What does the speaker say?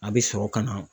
A bɛ sɔrɔ ka na